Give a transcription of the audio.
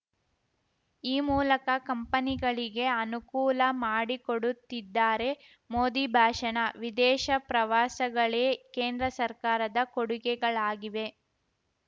ಈ ಮೂಲಕ ಕಂಪನಿಗಳಿಗೆ ಅನುಕೂಲ ಮಾಡಿಕೊಡುತ್ತಿದ್ದಾರೆ ಮೋದಿ ಭಾಷಣ ವಿದೇಶ ಪ್ರವಾಸಗಳೇ ಕೇಂದ್ರ ಸರ್ಕಾರದ ಕೊಡುಗೆಗಳಾಗಿವೆ